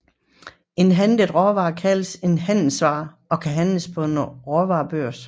En handlet råvare kaldes en handelsvare og kan handles på en råvarebørs